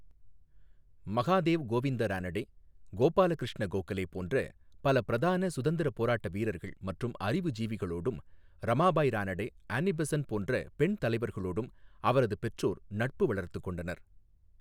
மகாதேவ் கோவிந்த ரானடே, கோபால கிருஷ்ண கோகலே போன்ற பல பிரதான சுதந்திரப் போராட்ட வீரர்கள் மற்றும் அறிவுஜீவிகளோடும், ரமாபாய் ரானடே, அனி பெசன்ட் போன்ற பெண் தலைவர்களோடும் அவரது பெற்றோர் நட்பு வளர்த்துக் கொண்டனர்.